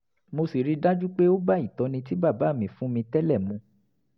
mo sì rí i dájú pé ó bá ìtọ́ni tí bàbá mi fún mi tẹ́lẹ̀ mu